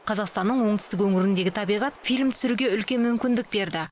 қазақстанның оңтүстік өңіріндегі табиғат фильм түсіруге үлкен мүмкіндік берді